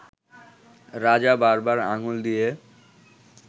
রাজা বারবার আঙ্গুল দিয়ে